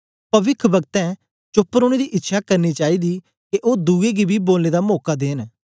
पविख्ब्क्तें चोप्प रौने दी इच्छ्यां करनी चाईदी के ओ दुए गी बी बोलने दा मौका दियै